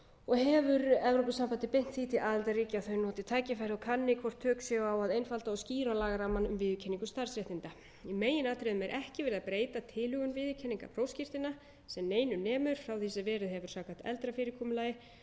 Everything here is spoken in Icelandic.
og hefur evrópusambandið beint því til aðildarríkja að þau noti tækifærið og kanni hvort tök séu á að einfalda og skýra lagarammann um viðurkenningu starfsréttinda í meginatriðum er ekki verið að breyta tilhögun viðurkenningar prófskírteina sem neinu nemur frá því sem verið hefur samkvæmt eldra fyrirkomulagi